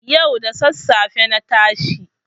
Yau da sassafe na tashi.